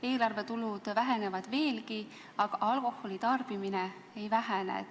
Eelarve tulud vähenevad veelgi, aga alkoholi tarbimine ei vähene.